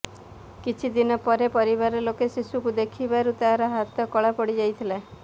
କିଛି ଦିନ ପରେ ପରିବାର ଲୋକେ ଶିଶୁକୁ ଦେଖିବାରୁ ତାର ହାତ କଳା ପଡ଼ିଯାଇଥିଲା